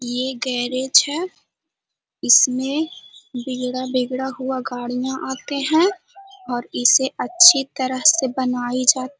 ये गैरेज है इसमें बिगड़ा-बिगड़ा हुआ गाड़ियां आते है और ऐसे अच्छी तरह से बनाई जा --